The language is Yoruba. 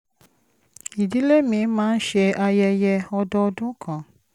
ìdílé mi máa ń ṣe ayẹyẹ ọdọọdún kan